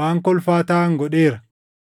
waan kolfaa taʼan godheera.